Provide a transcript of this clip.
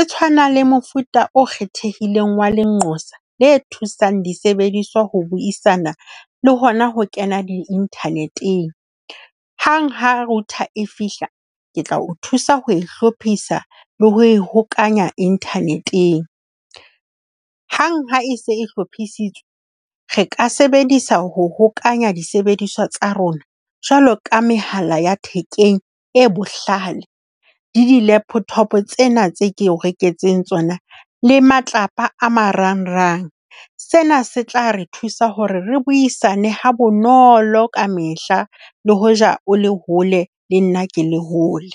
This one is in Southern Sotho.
E tshwanang le mofuta o kgethehileng wa lenqosa le thusang disebediswa ho buisana le hona ho kena di-internet-eng. Hanghang ha router e fihla, ke tla o thusa ho e hlophisa le ho e hokahanya internet-eng. Hang ha e se e hlophisitswe, re ka sebedisa ho hokahanya disebediswa tsa rona, jwalo ka mehala ya thekeng e bohlale le di-laptop tsena tseo ke o reketseng tsona le matlapa a marangrang. Sena se tla re thusa hore re buisane ha bonolo ka mehla. Le hoja o le hole, le nna ke le hole.